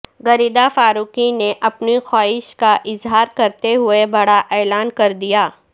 غریدہ فاروقی نے اپنی خواہش کا اظہار کرتے ہوئے بڑا اعلان کر دیا